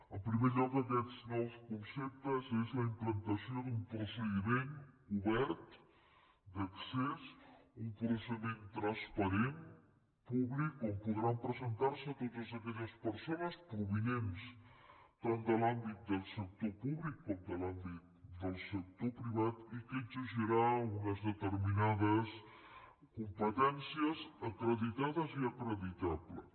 en primer lloc aquests nous conceptes són la implantació d’un procediment obert d’accés un procediment transparent públic on podran presentar se totes aquelles persones provinents tant de l’àmbit del sector públic com de l’àmbit del sector privat i que exigirà unes determinades competències acreditades i acreditables